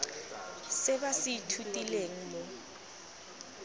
se ba se ithutileng mo